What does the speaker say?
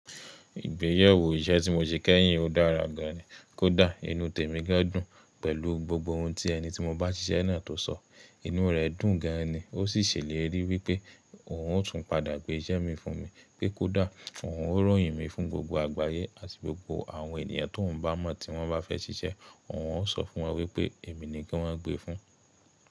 Ìgbéyewó iṣẹ́ tí mo ṣe kẹ́yìn dára gan ni. Kódà inú tèmi gán dùn pẹ̀lú gbogbo ohun ti ẹni tí mo bá ṣiṣẹ́ náà tó sọ, inú rẹ̀ dùn gan ni. O sì ṣèlérí wípé òun ó tún padà gbé iṣẹ́ mi fún mi, pé kó dà, òun ó ròyìn mi fún gbogbo àgbáyé àti gbogbo àwọn ènìyàn tí òhun bá mọ̀ tí wọ́n bá fẹ́ ṣiṣẹ́, òhun ó sọ fún wọn wípé èmi ni kí wọ́n gbe fún.